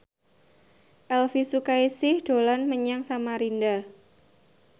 Elvy Sukaesih dolan menyang Samarinda